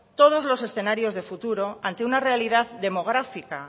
todos los escenarios de futuro ante una realidad demográfica